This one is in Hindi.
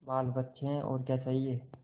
बालबच्चे हैं और क्या चाहिए